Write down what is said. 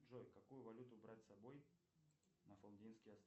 джой какую валюту брать с собой на